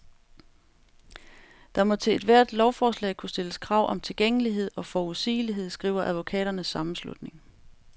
Der må til ethvert lovforslag kunne stilles krav om tilgængelighed og forudsigelighed, skriver advokaternes sammenslutning.